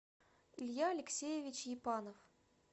илья алексеевич епанов